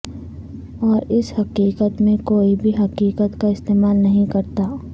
اور اس حقیقت میں کوئی بھی حقیقت کا استعمال نہیں کرتا